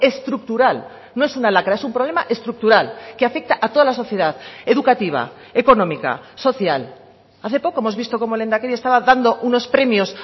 estructural no es una lacra es un problema estructural que afecta a toda la sociedad educativa económica social hace poco hemos visto cómo el lehendakari estaba dando unos premios